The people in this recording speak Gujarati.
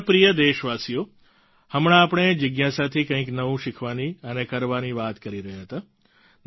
મારા પ્રિય દેશવાસીઓ હમણાં આપણે જિજ્ઞાસાથી કંઈક નવું શીખવાની અને કરવાની વાત કરી રહ્યા હતા